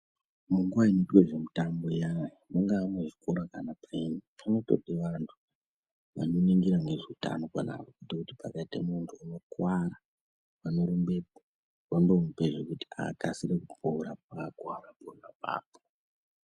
Munguva inoitwe zvemutambo iyani, mungava muzvikora kana paini kunotode vantu vanoningire ngezveutano apapo kuitira kuti pakaite muntu unokwara vanorumbepo vandomupe zvekuti akasire kupora paakwara pona apapo.